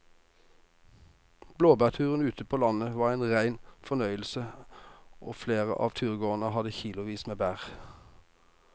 Blåbærturen ute på landet var en rein fornøyelse og flere av turgåerene hadde kilosvis med bær.